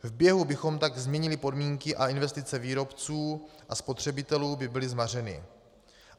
V běhu bychom tak změnili podmínky a investice výrobců a spotřebitelů by byly zmařeny.